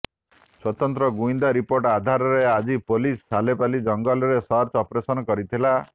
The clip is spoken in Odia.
ସ୍ୱତନ୍ତ୍ର ଗୁଇନ୍ଦା ରିପୋର୍ଟ ଆଧାରରେ ଆଜି ପୋଲିସ ସାଲେପାଲି ଜଙ୍ଗଲରେ ସର୍ଚ୍ଚ ଅପରେସନ କରିଥିଲା